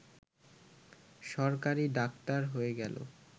সরকারি ডাক্তার হয়ে গেল